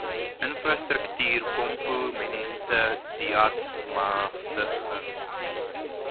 infrastruktuurkomponente deat magtiging